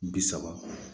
Bi saba